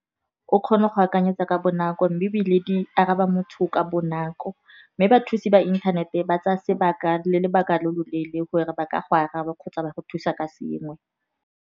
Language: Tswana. O kgona go akanyetsa ka bonako mme ebile di araba motho ka bonako. Mme bathusi ba inthanete ba tsaya sebaka le lobaka lo loleele gore ba ka go araba kgotsa ba go thusa ka sengwe.